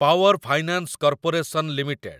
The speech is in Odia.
power finance corporation limited